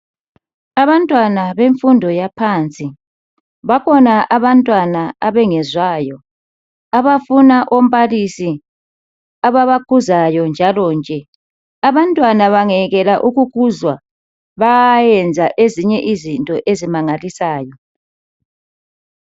Abantwana bemfundo yaphansi, bakhona abantwana abangezwayo abafuna umbalisi ababakhuzayo njalo nje. Abantwana bangekela ukukuzwa bayayenza ezinye izinto ezimangalisayo.